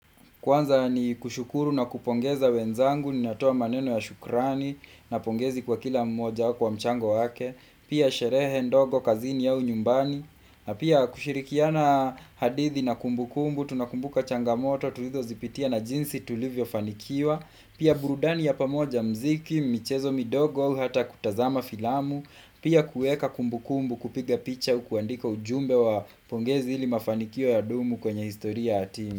Kwanza ni kushukuru na kupongeza wenzangu, nina toa maneno ya shukrani, na pongezi kwa kila mmoja kwa mchango wake, pia sherehe ndogo kazini au nyumbani, na pia kushirikiana hadithi na kumbu kumbu, tunakumbuka changamoto, tulizo zipitia na jinsi tulivyo fanikiwa, pia burudani ya pamoja mziki, michezo midogo, hata kutazama filamu, pia kuweka kumbu kumbu kupiga picha kuandika ujumbe wa pongezi ili mafanikio ya dumu kwenye historia hatimu.